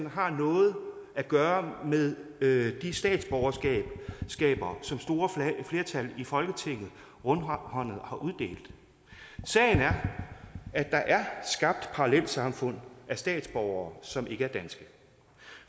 har noget at gøre med med de statsborgerskaber som store flertal i folketinget rundhåndet har uddelt sagen er at der er skabt parallelsamfund af statsborgere som ikke er danske